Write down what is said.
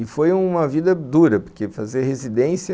E foi uma vida dura, porque fazer residência